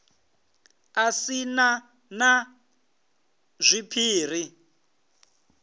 a si na na zwiphiri